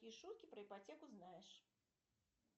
какие шутки про ипотеку знаешь